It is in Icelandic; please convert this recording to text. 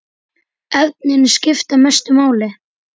Efnin skipta mestu máli.